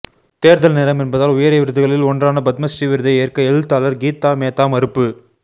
தேர்தல் நேரம் என்பதால் உயரிய விருதுகளில் ஒன்றான பத்மஸ்ரீ விருதை ஏற்க எழுத்தாளர் கீதா மேத்தா மறுப்பு